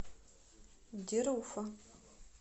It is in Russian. деруфа